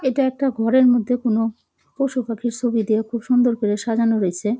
এইটা একটা ঘরের মধ্যে কোনো পশু পাখির ছবি দিয়ে খুব সুন্দর করে সাজানো রয়েছে।